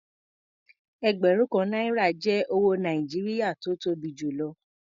Ẹgbẹ̀rún kan náírà jẹ́ owó Nàìjíríà tó tó bi jù lọ.